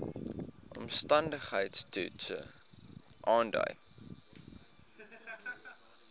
omstandigheids toets aandui